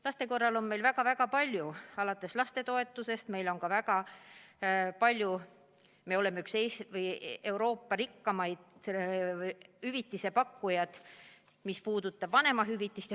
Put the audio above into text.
Laste jaoks on meil väga palju toetusi, alates lapsetoetusest, ja me oleme ka üks Euroopa rikkalikema hüvitise pakkujaid, mis puudutab vanemahüvitist.